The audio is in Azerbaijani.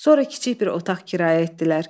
Sonra kiçik bir otaq kirayə etdilər.